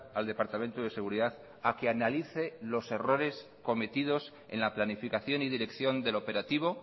al departamento de seguridad a que analice los errores cometidos en la planificación y dirección del operativo